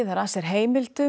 að sér heimildum